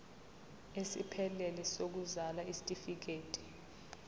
esiphelele sokuzalwa isitifikedi